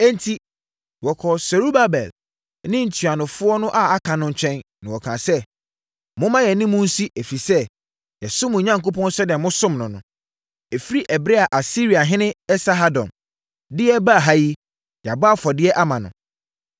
Enti, wɔkɔɔ Serubabel ne ntuanofoɔ no a aka no nkyɛn, na wɔkaa sɛ, “Momma yɛne mo nsi, ɛfiri sɛ, yɛsom mo Onyankopɔn sɛdeɛ mosom no no. Ɛfiri ɛberɛ a Asiriahene Esarhadon de yɛn baa ha yi, yɛabɔ afɔdeɛ ama no.”